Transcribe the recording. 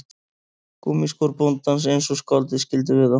Gúmmískór bóndans eins og skáldið skildi við þá